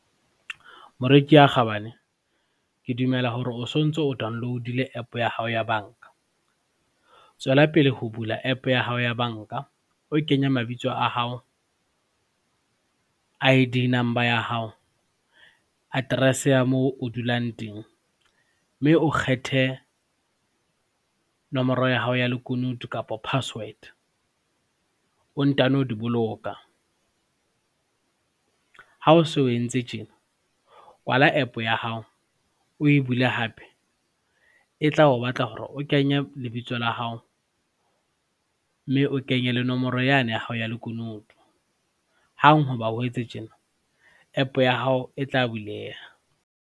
Moreki ya kgabane, ke dumela hore o sontso o Download-ile app ya hao ya banka. Tswellapele ho bula app ya hao ya banka, o kenya mabitso a hao, I_D number ya hao, address ya moo o dulang teng mme o kgethe nomoro ya hao ya lekunutu kapa password o ntano di boloka. Ha o so o entse tjena, kwala app ya hao o e bule hape e tla o batla hore o kenya lebitso la hao mme o kenye le nomoro yane ya hao ya lekunutu. Hang hoba o etse tjena, app ya hao e tla buleha.